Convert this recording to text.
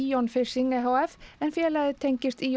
Ion Fishing e h f en félagið tengist